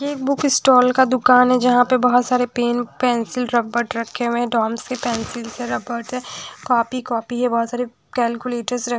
ये book stall का दुकान है जहां पे बहोत सारे पेन पेंसिल रबर रखे हुए हैं डॉम्स की पेंसिल्स है रबड़ है कॉपी कॉपी है बहुत सारी कैलकुलेटर्स रख--